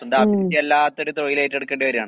സ്വന്തം അഭിരുചി അല്ലാത്തൊര് തൊഴിലേറ്റെടുക്കേണ്ടി വര്കാണ്.